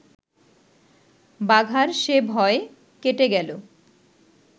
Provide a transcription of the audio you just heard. বাঘার সে ভয় কেটে গেল